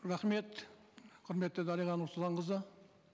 рахмет құрметті дариға нұрсұлтанқызы